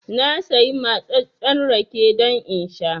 Na sayi matsattsen rake don in sha